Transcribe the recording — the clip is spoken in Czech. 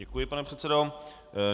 Děkuji, pane předsedo.